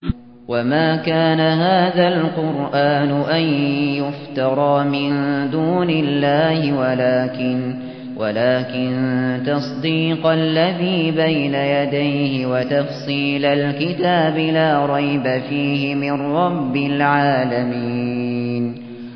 وَمَا كَانَ هَٰذَا الْقُرْآنُ أَن يُفْتَرَىٰ مِن دُونِ اللَّهِ وَلَٰكِن تَصْدِيقَ الَّذِي بَيْنَ يَدَيْهِ وَتَفْصِيلَ الْكِتَابِ لَا رَيْبَ فِيهِ مِن رَّبِّ الْعَالَمِينَ